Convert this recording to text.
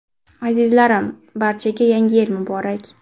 Azizlarim, barchaga – Yangi Yil muborak!